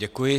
Děkuji.